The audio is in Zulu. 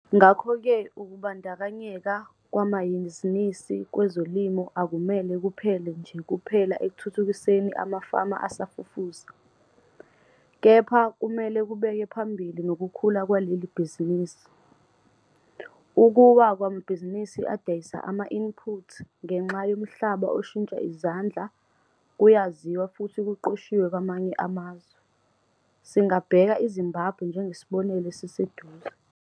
Ngakho-ke, ukubandakanyeka kwamanhizinisi kwezolimo akumele kuphelele nje kuphela ekuthuthukiseni amafama asafufusa, kepha kumele kubeke phambili nokukhula kwaleli bhizinisi. Ukuwa kwamabhizinisi adayisa ama-input ngenxa yomhlaba oshintsha izandla kuyaziwa futhi kuqoshiwe kwamanye amazwe, singabheka iZimbabwe njengesibonelo esiseduze.